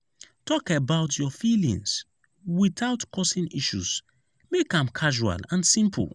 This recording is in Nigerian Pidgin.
talk about your feelings without causing issues; make am casual and simple.